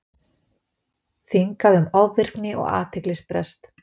Þingað um ofvirkni og athyglisbrest